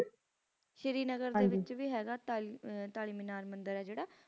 ਸ਼੍ਰੀਨਗਰ ਦੇ ਵਿਚ ਭੀ ਹੈਗਾ ਤਾਲੀ ਤਾਲਿਮਿਨਾਰ ਮੰਦਿਰ ਆਏ ਜ਼ੀਰਾ ਹੈਗਾ